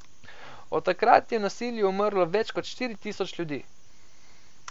Od takrat je v nasilju umrlo več kot štiri tisoč ljudi.